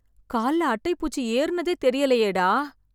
கால்ல அட்டை பூச்சி ஏறுனதே தெரியலயேடா...